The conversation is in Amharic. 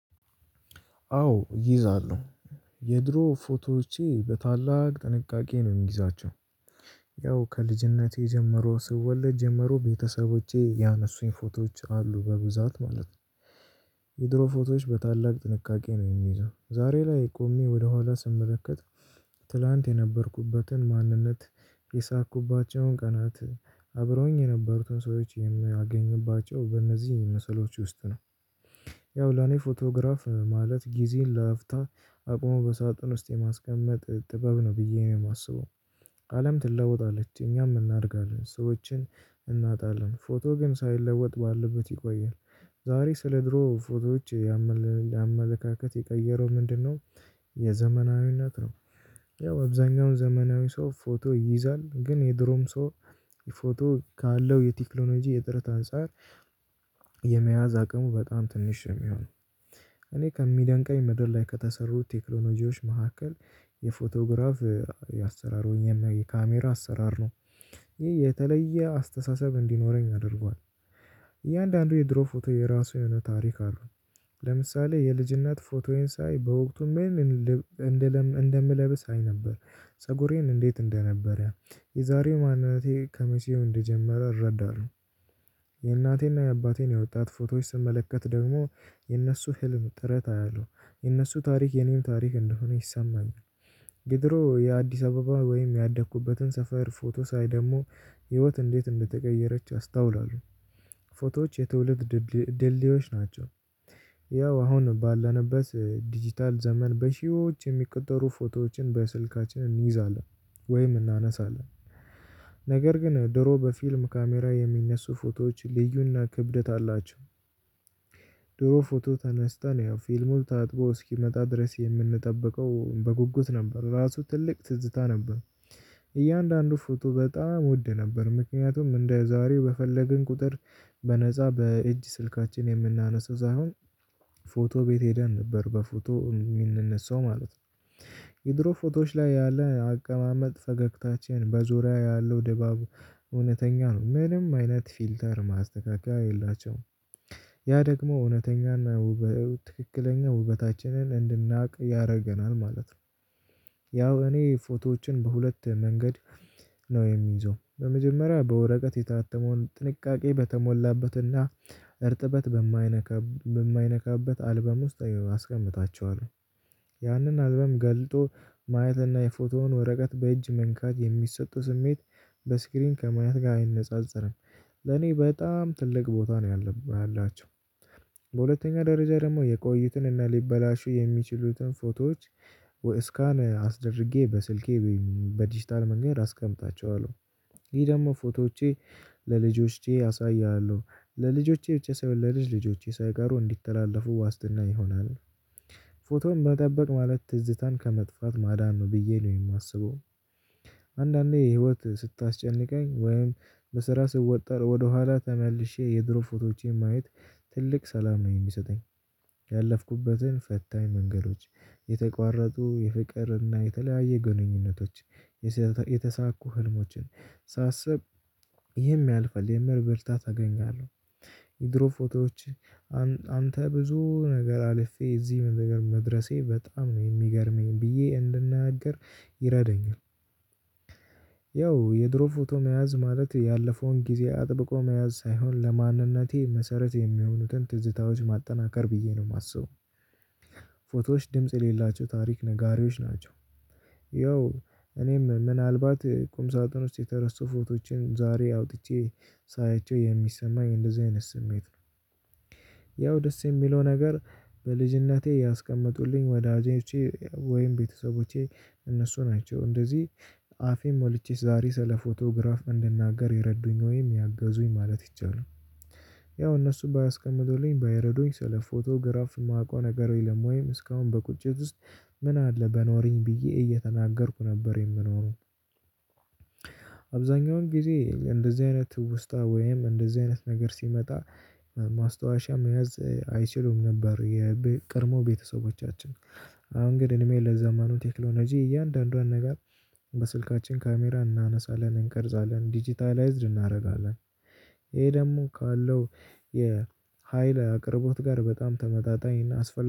አዎ እይዛለሁ። የድሮ ፎቶቼ በታላቅ ጥንቃቄ ነው እምይዛቸው። ያው ከልጅነቴ ጀምሮ ስወለድ ጀምሮ ቤተሰቦቼ ያነሱኝ ፎቶች አሉ በብዛት ማለት። የድሮ ፎቶች በታላቅ ጥንቃቄ ነው እምይዘው። ዛሬ ላይ ቆሜ ወደ ኋላ ስመለከት ትላንት የነበርኩበትን ማንነት የሳኩባቸው ቀናት፣ አብሮኝ የነበሩትን ሰዎች የሚያገኝባቸው በእነዚህ መስሎች ውስጥ ነው። ያው ለኔ ፎቶግራፍ ማለት ጊዜን ለአፍታ አቆመ በሳጥን ውስጥ የማስቀመጥ ጥበብ ነው ብዬ ነው የማስበው። አለም ትለወጣለች፣ እኛም እናድጋለን፣ ሰዎችን እናጣለን፣ ፎቶ ግን ሳይለወጥ ባልበት ይቆያል። ዛሬ ስለድሮ ፎቶዎች ያመለካከት የቀየረው ምንድን ነው? የዘመናዊነት ነው። ያው አብዛኛውን ዘመናዊ ሰው ፎቶ ይይዛል፣ ግን የድሮው ሰው ፎቶ ካለው የቴክኖሎጂ እጥረት አጻር የመያዝ አቅሙ በጣም ትንሽ ነው የሚሆነው። እኔ ከሚደንቀኝ የምድር ላይ ከተሰሩ ቴክኖሎጂዎች መሃከል የፎቶግራፍ የአሰራር የካሜራ አሰራር ነው። ይህ የተለየ አስተሳሰብ እንዲኖረኝ አደርጓል። እያንዳንዱ የድሮ ፎቶ የራሱ የሆነ ታሪክ አለው። ለምሳሌ የልጅነት ፎቶዬን ሳይ በውቅቱ ምን እንደምለብስ አይ ነበር። ፀጉሬን እንዴት እንደነበረ። የዛሬው ማንነቴ ከመቼው እንደጀመረ እረዳለሁ። የናቴ እና ያባቴን የወጣት ፎቶ ስመለከት ደግሞ የነሱ ህልም ጥረት አያለው። የነሱ ታሪክ የኔም ታሪክ እንደሆነ ይሳማኝ። የድሮ የአዲስ አበባ ወይም ያደኩበትን ሰፈር ፎቶ ሳይ ደሞ ህይወት እንዴት እንደተቀየረች አስተውላለሁ። ፎቶዎች የትውልድ ድልድዮች ናቸው። ያው አሁን ባለነብት ዲጂታል ዘመን በሽዮዎች የሚቆጠሩ ፎቶዎችን በስልካችን እንይዛለን ወይም እናነሳለን። ነገር ግን ድሮ በፊልም ካሜራ የሚነሱ ፎቶዎች ልዩ እና ክብድት አላቸው። ድሮ ፎቶ ተነስተን ያው ፊልሙን ታጥቦ እስኪመጣ ድረስ የምንጠበቀው በጉጉት ነበር፣ ራሱ ትልቅ ትዝታ ነበር። እያንድ አንዱ ፎቶ በጣም ውድ ነበር፣ ምክንያቱም እንደ ዛሬው በፈለገን ቁጥር በነጻ በእጅ ስልካችን የምናነስው ዛሆን ፎቶ ቤት ሄደን ነበር በፎቶ የሚንነሳው ማለት ነው። የድሮ ፎቶች ላይ ያለ አቀማመጥ ፈገግታችንን በዙሪያ ያለው ድባብ እውነተኛ ነው፣ ምንም አይነት ፊልተር ማስተካከያ የላቸውም። ያ ደግሞ እውነተኛን ትክክለኛ ውበታችንን እንድናቅ ያረገናል ማለት ነው። ያው እኔ ፎቶችን በሁለት መንገድ ነው እምይዘው። በመጀመሪያ በወረቀት የተያተመውን ጥንቃቄ በተሞላበት እና እርጥበት በማይነካበት አልበም ውስጥ አስቀምታቸዋለሁ። ያንን አልበም ገልጦ ማየት እና የፎቶውን ወረቀት በእጅ መንካት የሚሰጠው ስሜት በስክሪን ከማየት ጋር አይነጻጽረም። ለኔ በጣም ትልቅ ቦታ ነው ያላቸው። በሁለተኛ ደረጃ ደግሞ የቆዩትን እና ሊበላሹ የሚችሉትን ፎቶዎች ወእስካን አስደርግዬ በስልኬ በዲጂታል መንገድ አስቀምታቸዋለሁ። ይህ ደግሞ ፎቶቼ ለልጆቼ አሳያ አለው። ለልጆቼ ብቻ ሰይሆን ለልጅ ልጆቼ ሳይቃሩ እንዲተላለፉ ዋስትና ይሆናል። ፎቶውን መጠበቅ ማለት ትዝታን ከመጥፋት ማዳን ነው ብዬ ነው የማስበው። አንዳንዴ ህይወት ስታስጨንቅኝ ወይም በስራ ስወጠር ወደ ኋላ ተመልሼ የድሮ ፎቶዎችን ማየት ትልቅ ሰላም ነው የሚሰጠኝ። ያለፍኩበትን ፈታኝ መንገዶች፣ የተቋረጡ የፍቅር እና የተለያየ ግንኙነቶች፣ የተሳኩ ህልሞችን፣ ሳስብ ይህም ያልፈል የሚል ብርታት አገኛለሁ። የድሮ ፎቶዎች አንተ ብዙ ነገር አለፈህ እዚህ መድረሴ በጣም ነው የሚገርመኝ ብዬ እንድናገር ይረዳኝል። ያው የድሮ ፎቶ መያዝ ማለት ያለፈውን ጊዜ አጠብቆ መያዝ ሳይሆን ለማንነቴ መሰረት የሚሆኑትን ትዝታዎች ማጠናከር ብዬ ነው ማስበው። ፎቶዎች ድምጽ የሌላቸው ታሪክ ነጋሪዎች ናቸው። ያው እኔ ምን አልባት ቁምሳጥን ውስጥ የተረሱ ፎቶችን ዛሬ አውጥቼ ሳያችው የሚሰማኝ እንደዚህ አይነት ስሜት ነው። ያው ደስ የሚለው ነገር በልጅነቴ ያስቀመጡልኝ ወዳጆቼ ወይም ቤተሰቦቼ እነሱ ናቸው። እንደዚህ አፌን ሞልቼ ዛሬ ስለ ፎቶግራፍ እንድናገር የረዱኝ ወይም ያገዙኝ ማለት ይቻላል። ያው እነሱ ባያስቀምጥሉኝ ባይረዱኝ ስለ ፎቶግራፍ ማቀው ነገር የለም ውይም እስከውን በቁጭት ውስጥ ምን አለ በኖረኝ ብዬ እየተናገርኩ ነበር የምኖረው። አብዛኛውን ጊዜ እንደዚህ አይነት ትውስታ ወይም እንደዚህ አይነት ነገር ሲመጣ ማስተዋሻ መያዝ አይችሉም ነበር የቅድሞ ቤተሰቦቻችን። አሁን ግን እድሜ ለዘመኑ ቴክኖሎጂ እያንዳንዷን ነገር በስልካችን ካሜራ እናነሳለን እንቀርጻለን፣ ዲጂታልይዝድ እናረጋለን። ይህ ደግሞ ካለው የሀይል አቅርቦት ጋር በጣም ተመጣጣኝ እና አስፋ